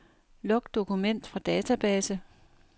Luk dokument fra database.